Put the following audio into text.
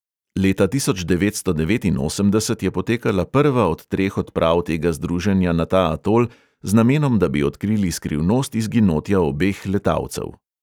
Leta tisoč devetsto devetinosemdeset je potekala prva od treh odprav tega združenja na ta atol z namenom, da bi odkrili skrivnost izginotja obeh letalcev.